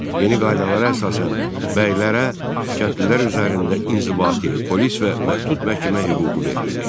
Yeni qaydalara əsasən bəylərə kəndlilər üzərində inzibati, polis və məhdud məhkəmə hüququ verildi.